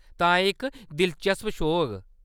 तां एह्‌‌ इक दिलचस्प शो होग।